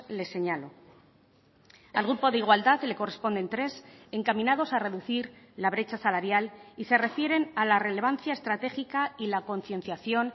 les señalo al grupo de igualdad le corresponden tres encaminados a reducir la brecha salarial y se refieren a la relevancia estratégica y la concienciación